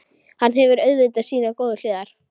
Hann hefur auðvitað sínar góðu hliðar.